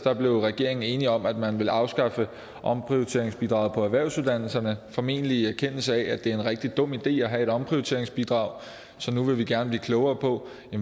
blev regeringen enig om at man ville afskaffe omprioriteringsbidraget på erhvervsuddannelserne formentlig i erkendelse af at det er en rigtig dum idé at have et omprioriteringsbidrag så nu vil vi gerne blive klogere på